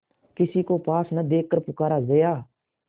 किसी को पास न देखकर पुकारा जया